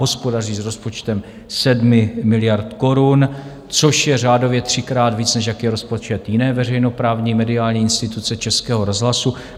Hospodaří s rozpočtem 7 miliard korun, což je řádově třikrát víc, než jaký je rozpočet jiné veřejnoprávní mediální instituce Českého rozhlasu.